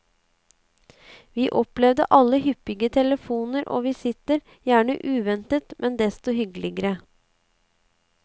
Vi opplevde alle hyppige telefoner og visitter, gjerne uventet, men desto hyggeligere.